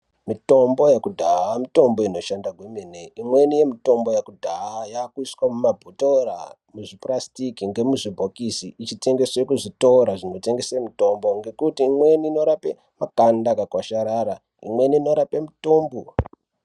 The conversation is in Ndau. Mitombo yekudhaya mitombo inoshanda kwemene. Imweni yemitombo yakudhaya yaakuiswa mumabhuthora ,muzvipurasitiki ngemuzvibhokisi ichitengeswe muzvitora zvinotengese mitombo, ngekuti imweni inorape makanda akakwasharara, imweni inorape mutumbu.